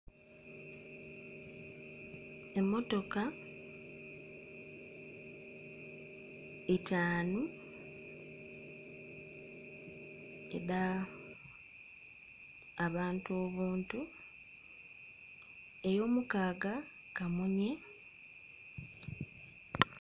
Emmotoka itaanu edh'abantu obuntu, ey'omukaaga kamunye.